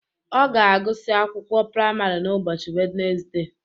Ọ ga-agụsị akwụkwọ praịmarị n' ụbọchị Wednesde